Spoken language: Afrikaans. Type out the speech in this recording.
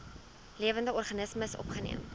lewende organismes opgeneem